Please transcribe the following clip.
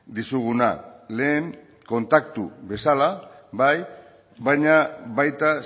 dizuguna lehen kontaktu bezala bai baina baita